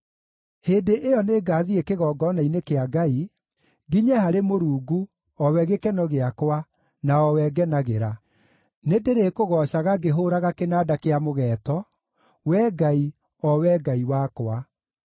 Hĩndĩ ĩyo nĩngathiĩ kĩgongona-inĩ kĩa Ngai, nginye harĩ Mũrungu, o we gĩkeno gĩakwa, na o we ngenagĩra. Nĩndĩrĩkũgoocaga ngĩhũũraga kĩnanda kĩa mũgeeto, Wee Ngai, o Wee Ngai wakwa.